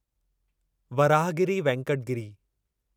Varahagiri Venkata Giri